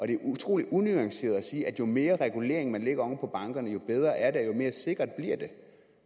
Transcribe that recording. det er utrolig unuanceret at sige at jo mere regulering man lægger oven på bankerne jo bedre er det og jo mere sikkert bliver det